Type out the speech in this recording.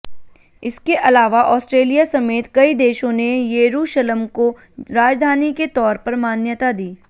इसके अलावा ऑस्ट्रेलिया समेत कई देशों ने येरूशलम को राजधानी के तौर पर मान्यता दी